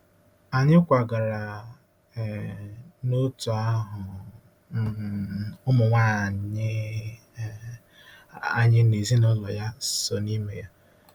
Anyị kwagara um n’òtù ahụ um ụmụnwaanyị um anyị na ezinụlọ ya so n’ime ya.